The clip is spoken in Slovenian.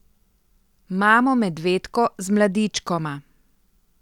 Mamo medvedko z mladičkoma.